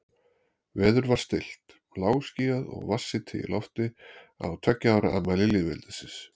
Veður var stillt, lágskýjað og vatnshiti í lofti á tveggja ára afmæli lýðveldisins.